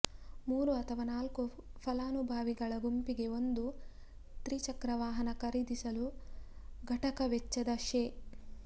ಮೂರು ಅಥವಾ ನಾಲ್ಕು ಫಲಾನುಭವಿಗಳ ಗುಂಪಿಗೆ ಒಂದು ತ್ರಿಚಕ್ರವಾಹನ ಖರಿದಿಸಲು ಘಟಕ ವೆಚ್ಚದ ಶೇ